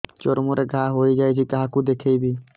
ଚର୍ମ ରେ ଘା ହୋଇଯାଇଛି କାହାକୁ ଦେଖେଇବି